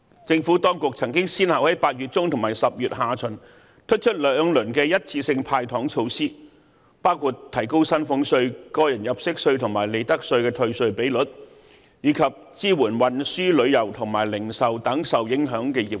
政府當局曾先後在8月中和10月下旬推出兩輪一次性"派糖"措施，包括提高薪俸稅、個人入息課稅及利得稅退稅比率，以及支援運輸、旅遊和零售等受影響的業界。